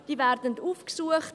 Diese werden aufgesucht.